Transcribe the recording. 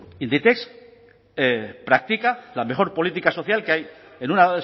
inditex practica la mejor política social que hay en una